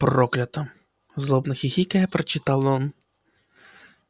проклято злобно хихикая прочитал он